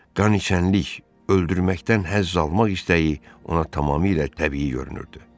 Qaniçənlik, öldürməkdən həzz almaq istəyi ona tamamilə təbii görünürdü.